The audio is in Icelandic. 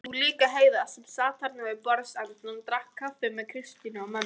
Og líka Heiða sem sat þarna við borðsendann og drakk kaffi með Kristínu og mömmu.